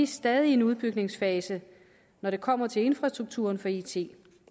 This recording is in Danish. stadig i en udbygningsfase når det kommer til infrastrukturen for it